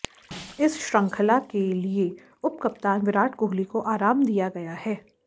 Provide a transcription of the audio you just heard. इस श्रंखला के लिए उपकप्तान विराट कोहली को आराम दिया गया है